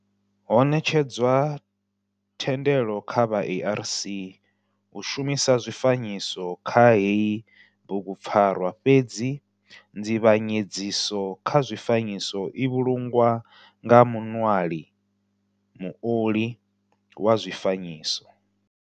Ho netshedzwa thendelo kha vha ARC u shumisa zwifanyiso kha heyi bugu pfarwa fhedzi nzivhanyedziso kha zwifanyiso i vhulungwa nga muṋwali, muoli wa zwifanyiso.